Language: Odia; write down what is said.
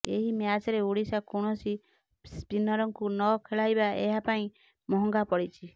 ଏହି ମ୍ୟାଚ୍ରେ ଓଡ଼ିଶା କୌଣସି ସ୍ପିନରଙ୍କୁ ନ ଖେଳାଇବା ଏହା ପାଇଁ ମହଙ୍ଗା ପଡ଼ିଛି